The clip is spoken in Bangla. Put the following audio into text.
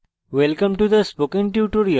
welcome to the spokentutorial